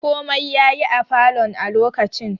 Komai yayi a falon a lokacin